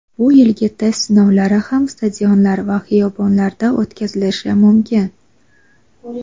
Bu yilgi test sinovlari ham stadionlar va xiyobonlarda o‘tkazilishi mumkin.